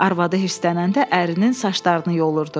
Arvadı hirslənəndə ərinin saçlarını yolurdu.